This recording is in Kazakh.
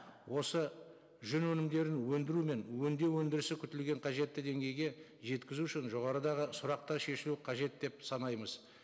осы жүн өнімдерін өндіру мен өндеу өндірісі күтілген қажетті деңгейге жеткізу үшін жоғарыдағы сұрақтар шешілуі қажет деп санаймыз